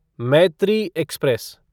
Maitri express